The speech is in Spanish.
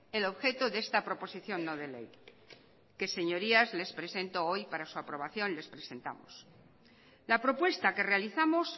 el objeto de esta proposición no de ley que señorías les presento hoy para su aprobación les presentamos la propuesta que realizamos